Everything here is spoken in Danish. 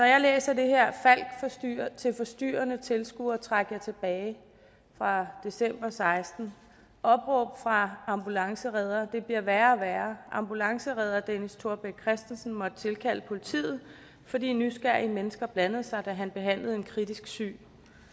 jeg læser det her falck til forstyrrende tilskuere træk jer tilbage fra december og seksten opråb fra ambulanceredder det bliver værre og værre ambulanceredder dennis thorbeck christensen måtte tilkalde politiet fordi nysgerrige mennesker blandede sig da han behandlede en kritisk syg